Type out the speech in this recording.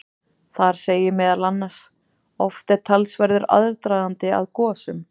Þar segir meðal annars: Oft er talsverður aðdragandi að gosum.